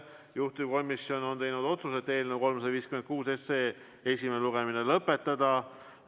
Juhtivkomisjon on teinud otsuse eelnõu 356 esimene lugemine lõpetada.